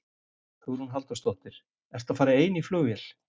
Hugrún Halldórsdóttir: Ertu að fara ein í flugvél?